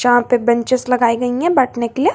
यहां पे बेचेंस लगाई गई है बैठने के लिए।